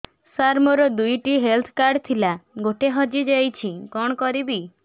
ସାର ମୋର ଦୁଇ ଟି ହେଲ୍ଥ କାର୍ଡ ଥିଲା ଗୋଟେ ହଜିଯାଇଛି କଣ କରିବି